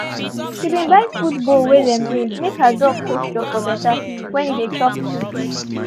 she been buy food bowl wey dem raise make her dog posture for better when e dey chop food.